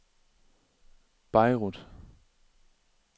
Beirut